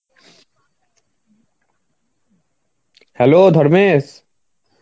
hello Dharmesh.